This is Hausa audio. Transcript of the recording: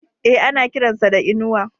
E, ana kiran sa da Inuwa.